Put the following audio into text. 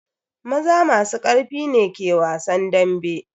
Maza masu karfi ne ke wasan dambe.